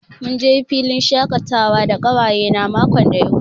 Mun je filin shakatawa da ƙawayena makon da ya wuce.